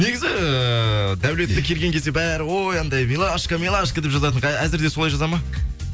негізі эээ даулетті келген кезде бәрі ой анандай милашка милашка деп жазатын әзір де солай жаза ма